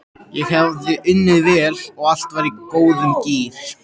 Ég hafði unnið vel og allt var í góðum gír.